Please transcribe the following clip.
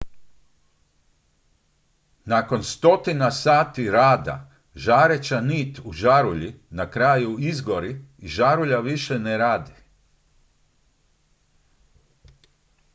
nakon stotina sati rada žareća nit u žarulji na kraju izgori i žarulja više ne radi